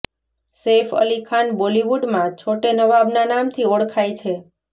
સૈફ અલી ખાન બોલીવુડમાં છોટે નવાબના નામથી ઓળખાય છે